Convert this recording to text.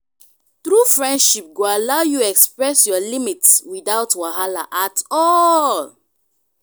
true friendship go allow you express your limits without wahala at all.